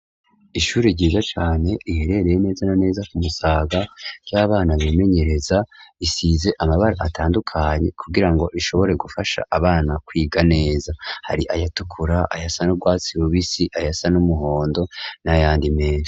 Ishure ryiza cane riherereye neza na neza ku musaga ry'abana bimenyereza, risize amabara atandukanye kugira ngo rishobore gufasha abana kwiga neza, hari ayatukura ayasa n'urwatsi rubisi ayasa n'umuhondo n'ayandi meza.